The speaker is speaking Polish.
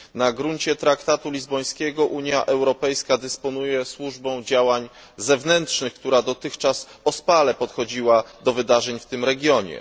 Na gruncie Traktatu Lizbońskiego Unia Europejska dysponuje Służbą Działań Zewnętrznych, która dotychczas ospale podchodziła do wydarzeń w tym regionie.